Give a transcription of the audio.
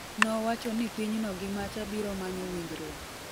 nowacho ni pinyno gi macha biro manyo winjruok